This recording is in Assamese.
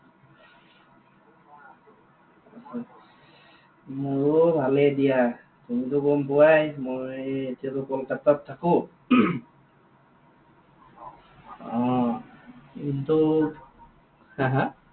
মোৰো ভালেই দিয়া। তুমি তো গম পোৱাই মই এতিয়া তো কলকাতাত থাকো। অ, কিন্তু, হে, হে?